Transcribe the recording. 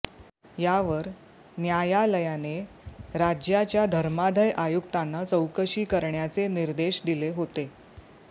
यावर न्यायालयाने राज्याच्या धर्मादाय आयुक्तांना चौकशी करण्याचे निर्देश दिले होते